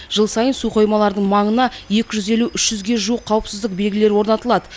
жыл сайын су қоймаларының маңына екі жүз елу үш жүзге жуық қауіпсіздік белгісі орнатылады